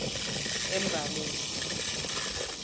embalenhle